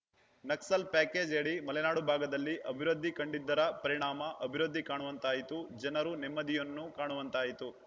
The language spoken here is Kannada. ನಕ್ಸಲ್‌ ಪ್ಯಾಕೇಜ್‌ಯಡಿ ಮಲೆನಾಡು ಭಾಗದಲ್ಲಿ ಅಭಿವೃದ್ಧಿ ಕಂಡಿದ್ದರ ಪರಿಣಾಮ ಅಭಿವೃದ್ಧಿ ಕಾಣುವಂತಾಯಿತು ಜನರು ನೆಮ್ಮದಿಯನ್ನು ಕಾಣುವಂತಾಯಿತು